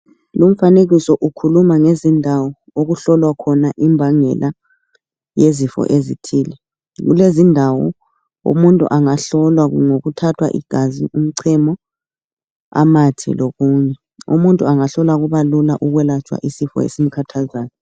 Lumfanekiso ukhuluma ngezindawo okuhlolwa khona imbangela yezifo ezithile kulezindawo umuntu angahlolwa kuthathwa igazi, umchemo, amathe lokunye umuntu angahlolwa kuba lula ukwelatshwa isifo esimkhathazayo.